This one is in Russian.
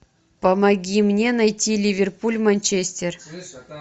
помоги мне найти ливерпуль манчестер